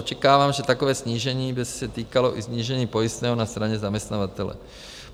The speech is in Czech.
Očekávám, že takové snížení by se týkalo i snížení pojistného na straně zaměstnavatele.